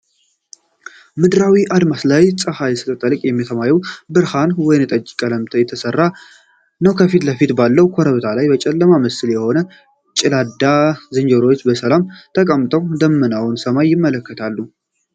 ምድራዊ አድማስ ላይ፣ ፀሐይ ስትጠልቅ የሰማዩ ብርቱካናማና ወይንጠጅ ቀለም ተራሮችን እየለበሰ ነው። ከፊት ለፊት ባለው ኮረብታ ላይ፣ የጨለማ ምስል የሆኑ የጨላዳ ዝንጀሮዎች በሰላም ተቀምጠው ደመናማውን ሰማይ ይመለከታሉ።